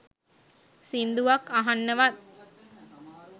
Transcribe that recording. සින්දුවක් අහන්නවත්